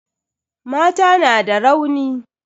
Mata na da rauni.